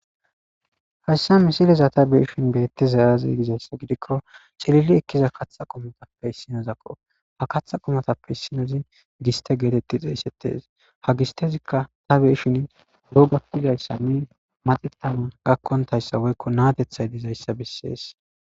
Hayssa misileza ta beyishin beettizay azee gizayssa gidikko ciililli eekiza kaththa qoommozappe issinezakko ha kaththa qoommozappe issinozi giste gettettidii xeysetes ha gistezikka ta beyishin dhobatishenne maxetanaw gakontayssa woykko na'ateththay dizayssa besses